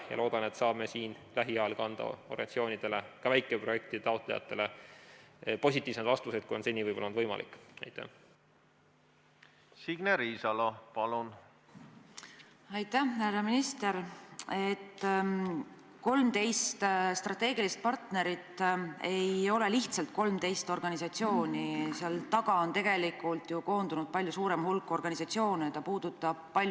Ma loodan, et saame lähiajal anda organisatsioonidele, ka väikeprojektide taotlejatele positiivsemaid vastuseid, kui on seni võib-olla olnud võimalik.